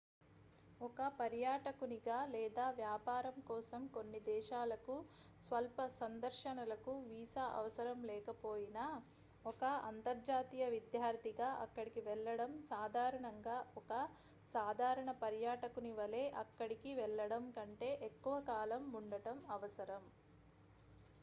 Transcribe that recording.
ఒక పర్యాటకునిగా లేదా వ్యాపారం కోసం కొన్ని దేశాలకు స్వల్ప సందర్శనలకు వీసా అవసరం లేకపోయినా ఒక అంతర్జాతీయ విద్యార్థిగా అక్కడికి వెళ్లడం సాధారణంగా ఒక సాధారణ పర్యాటకుని వలె అక్కడికి వెళ్ళడం కంటే ఎక్కువ కాలం ఉండటం అవసరం